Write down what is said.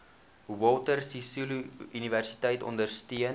walter sisuluuniversiteit ondersteun